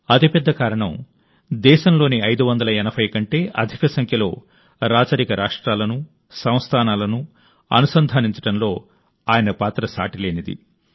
అతిపెద్ద కారణం దేశంలోని 580 కంటే అధిక సంఖ్యలో రాచరిక రాష్ట్రాలను సంస్థానాలను అనుసంధానించడంలో ఆయన పాత్ర సాటిలేనిది